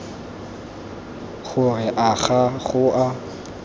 gore a ga go a